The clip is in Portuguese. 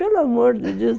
Pelo amor de Deus.